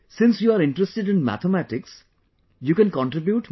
Since you are interested in Mathematics, you can contribute